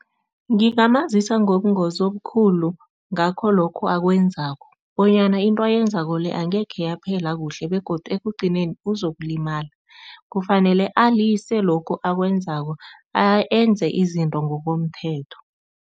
Ngingamazisa ngobungozi obukhulu ngakho lokho akwenzako bonyana into ayenzako le angekhe yaphela kuhle begodu ekugcineni uzokulimala, kufanele alise lokhu akwenzako enze izinto ngokomthetho.